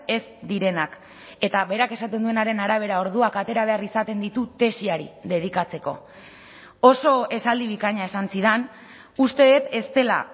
ez direnak eta berak esaten duenaren arabera orduak atera behar izaten ditu tesiari dedikatzeko oso esaldi bikaina esan zidan uste dut ez dela